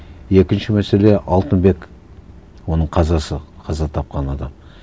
екінші мәселе алтынбек оның қазасы қаза тапқан адам